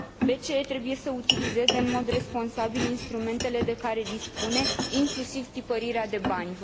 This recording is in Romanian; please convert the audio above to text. BCE trebuie să utilizeze în mod responsabil instrumentele de care dispune, inclusiv tipărirea de bani.